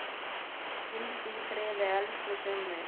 Hvíldu í friði, elsku Summi.